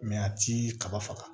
a ti kaba faga